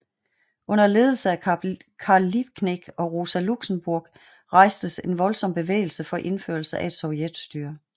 Under ledelse af Karl Liebknecht og Rosa Luxemburg rejstes en voldsom bevægelse for indførelse af et sovjetstyre